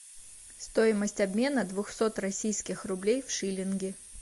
стоимость обмена двухсот российских рублей в шиллинги